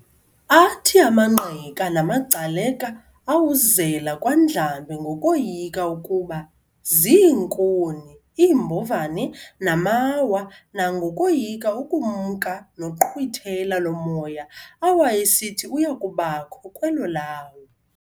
Athi amaNgqika namagcaleka awuzela kwaNdlambe ngokoyika ukuba ziinkuni, iimbovane, namawa, nangokoyika ukumka noqhwithela lomoya awayesithi uyakubakho kwelo lawo.